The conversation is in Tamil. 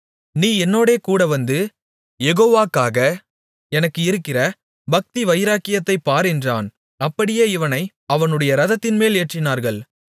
நீ என்னோடே கூடவந்து யேகோவாக்காக எனக்கு இருக்கிற பக்திவைராக்கியத்தைப் பார் என்றான் அப்படியே இவனை அவனுடைய இரதத்தின்மேல் ஏற்றினார்கள்